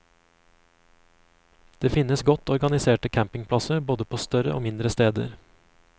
Det finnes godt organiserte campingplasser både på større og mindre steder.